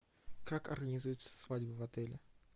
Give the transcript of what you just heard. как организуется свадьба в отеле